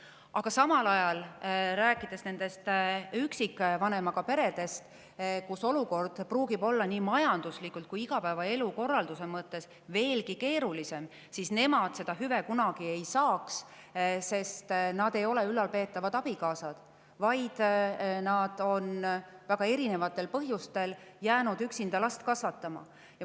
Aga samal ajal need üksikvanemaga pered, kelle olukord võib olla nii majanduslikult kui igapäevaelu korralduse mõttes veelgi keerulisem, seda hüvet kunagi ei saa, sest nad ei ole ülalpeetavad abikaasad, vaid nad on väga erinevatel põhjustel jäänud üksinda last kasvatama.